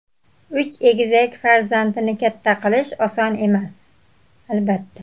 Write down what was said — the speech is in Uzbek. Uch egizak farzandni katta qilish oson emas, albatta.